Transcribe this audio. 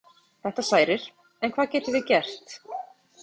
Þetta særir, en hvað getum við gert?